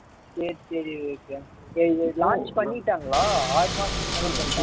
சரி சரி விவேக் சரி சரி launch பண்ணிட்டாங்களா ஆறு மாசத்துக்கு முன்னால